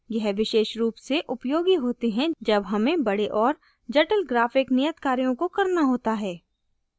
यह विशेष रूप से उपयोगी होते हैं जब हमें बड़े और जटिल graphic नियत कार्यों को करना होता है